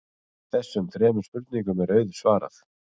Þessum þremur spurningum er auðsvarað.